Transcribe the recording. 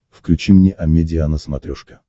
включи мне амедиа на смотрешке